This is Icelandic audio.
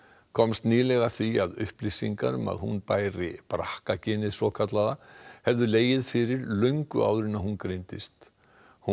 komst nýlega að því að upplýsingar um að hún bæri brakka genið svokallaða hefðu legið fyrir löngu áður en hún greindist hún